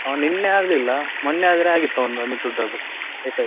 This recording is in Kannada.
ಅವನು ನಿನ್ನೆ ಆಗ್ಲಿಲ್ಲ, ಮೊನ್ನೆ ಆದ್ರೆ ಆಗಿತ್ತು ಅವಂದು ಅಮಿತ್ ಹೂಡಾದ್ದು high five.